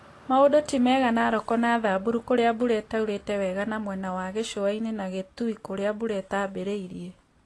Maũndũ ti mega Nakoro na Thamburu kũrĩa mbura ĩtaurĩte wega na mwena wa gĩcũa-inĩ na Kitui kũrĩa mbura itambĩrĩirie